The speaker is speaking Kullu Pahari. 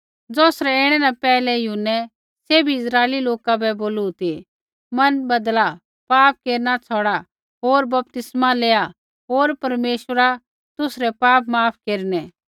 ज़ौसरै ऐणै न पैहलै यूहन्नै सैभी इस्राइली लोका बै बोलू ती मन बदला पाप केरना छ़ौड़ा होर बपतिस्मा लेआ होर परमेश्वरा तुसरै पाप माफ़ केरनै